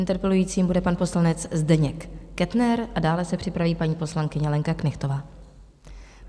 Interpelujícím bude pan poslanec Zdeněk Kettner a dále se připraví paní poslankyně Lenka Knechtová.